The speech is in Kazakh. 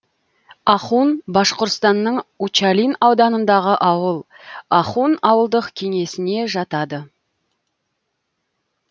ахун башқұртстанның учалин ауданындағы ауыл ахун ауылдық кеңесіне жатады